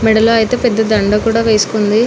మెడలో అయితే పెద్ద దండ కూడా వేసుకుంది.